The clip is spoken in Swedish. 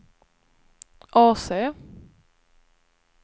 AC